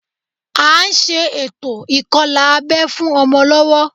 À ń ṣe ètò ìkọlà abẹ́ fún ọmọ lọ́wọ́